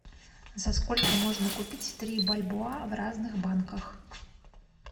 за сколько можно купить три бальбоа в разных банках